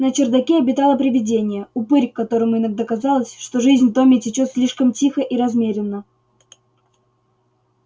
на чердаке обитало привидение упырь которому иногда казалось что жизнь в доме течёт слишком тихо и размеренно